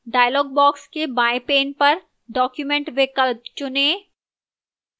dialog box के बाएं pane पर document विकल्प चुनें